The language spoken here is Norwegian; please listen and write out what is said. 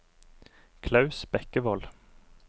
Klaus Bekkevold